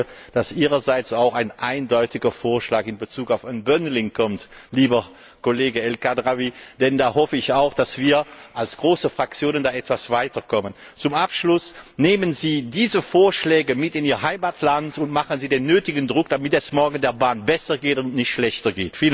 Ich hoffe, dass Ihrerseits auch ein eindeutiger Vorschlag in Bezug auf unbundling kommt, lieber Kollege El Khadraoui, denn ich hoffe auch, dass wir als große Fraktionen da etwas weiterkommen. Zum Abschluss Nehmen Sie diese Vorschläge mit in Ihr Heimatland und machen Sie den nötigen Druck, damit es der Bahn morgen besser geht und nicht schlechter!